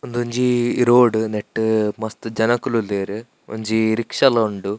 ಉಂದೊಂಜಿ ರೋಡ್ ನೆಟ್ಟ್ ಮಸ್ತ್ ಜನಕುಲು ಉಲ್ಲೆರ್ ಒಂಜಿ ರಿಕ್ಷ ಲ ಉಂಡು.